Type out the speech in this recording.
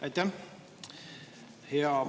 Aitäh!